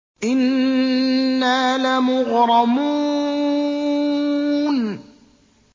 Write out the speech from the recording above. إِنَّا لَمُغْرَمُونَ